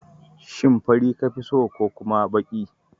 Shin fari ka fi so ko kuma baki?